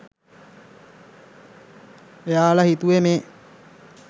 එයාල හිතුවෙ මේ